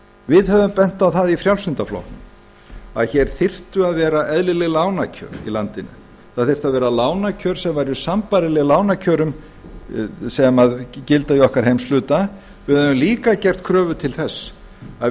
við höfum bent á það í frjálslynda flokknum að hér þyrftu að vera eðlileg lánakjör í landinu það þyrftu að vera lánakjör sem væru sambærileg lánakjörum sem gilda í okkar heimshluta við höfum líka gert kröfu til þess að